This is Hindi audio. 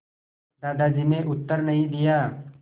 दादाजी ने उत्तर नहीं दिया